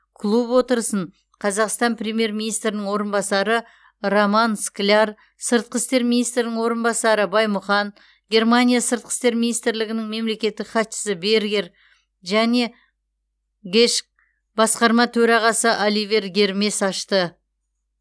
клуб отырысын қазақстан премьер министрінің орынбасары роман скляр сыртқы істер министрінің орынбасары баймұхан германия сыртқы істер министрлігінің мемлекеттік хатшысы бергер және гэшк басқарма төрағасы оливер гермес ашты